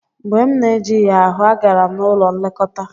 Mgbe m na-ejighị ahụ, agara m n'ụlọ nlekọta.